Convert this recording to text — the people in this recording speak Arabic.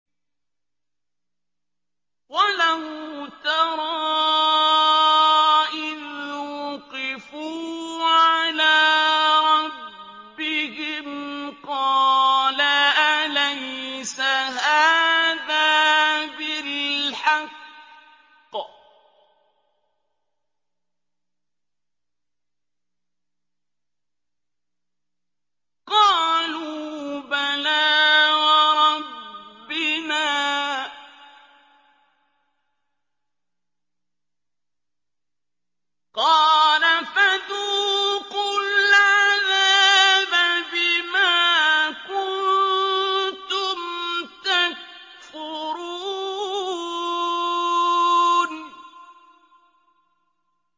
وَلَوْ تَرَىٰ إِذْ وُقِفُوا عَلَىٰ رَبِّهِمْ ۚ قَالَ أَلَيْسَ هَٰذَا بِالْحَقِّ ۚ قَالُوا بَلَىٰ وَرَبِّنَا ۚ قَالَ فَذُوقُوا الْعَذَابَ بِمَا كُنتُمْ تَكْفُرُونَ